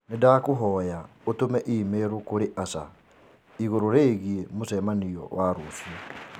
Nĩ ndakũhoya ũtũme i-mīrū kũrĩ Asha igũrũ rĩgiĩ mũcemanio wa rũciũ